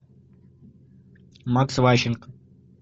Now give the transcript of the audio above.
макс ващенко